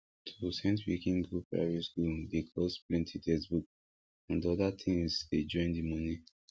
to sent pikin go private school dey cost plenty textbook and other things dey join the money